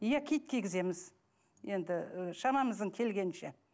иә кит кигіземіз енді ы шамамыздың келгенінше